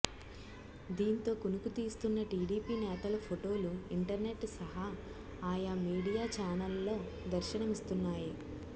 దీంతో కునుకు తీస్తున్న టీడీపీ నేతల ఫోటోలు ఇంటర్నెట్ సహా ఆయా మీడియా ఛానెళ్లలో దర్శనమిస్తున్నాయి